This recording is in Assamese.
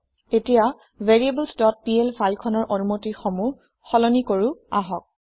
এতিয়া variablesপিএল ফাইল খনৰ অনুমতি সমূহ সলনি কৰো আহক